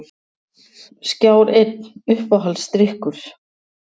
Skjár einn Uppáhaldsdrykkur?